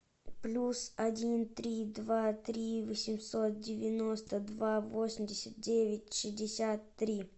плюс один три два три восемьсот девяносто два восемьдесят девять шестьдесят три